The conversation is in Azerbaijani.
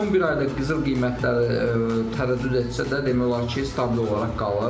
Son bir ayda qızıl qiymətləri tərəddüd etsə də demək olar ki, stabil olaraq qalıb.